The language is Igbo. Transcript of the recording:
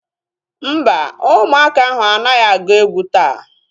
Mba, ụmụaka ahu anaghị agu egwu taa